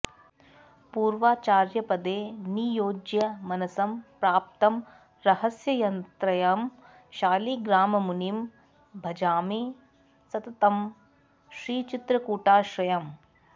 पूर्वाचार्यपदे नियोज्य मनसं प्राप्तं रहस्यत्रयं शालिग्राममुनिं भजामि सततं श्रीचित्रकूटाश्रयम्